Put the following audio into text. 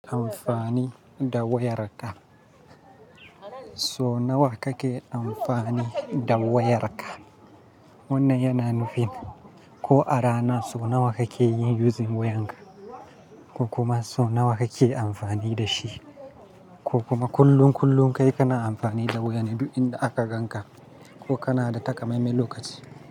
Amfani da wayarka. So nawa kake amfani da wayarka? Wannan yana nufin ko a rana so nawa kake yin using wayarka, ko kuma so nawa kake amfani da shi, ko kuma kullun kullum kai kana amfani da waya ne duk inda aka ganka ko kana da takamaime lokaci.